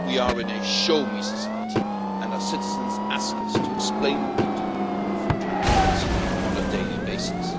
We are in a show me' society, and our citizens ask us to explain what we do in full transparency on a daily basis.